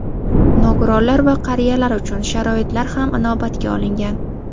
Nogironlar va qariyalar uchun sharoitlar ham inobatga olingan.